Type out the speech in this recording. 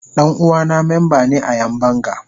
Dan uwana memba ne a Yan banga.